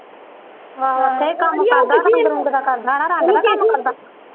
ਆਹੋ ਨਹੀਂ ਕੰਮ ਕਰਦਾ ਰੰਗ ਰੁੰਗ ਦਾ ਕਰਦਾ ਨਾ ਰੰਗ ਦਾ ਕੰਮ ਕਰਦਾ ਆ।